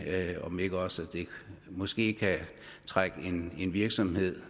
om det ikke også måske kan trække en virksomhed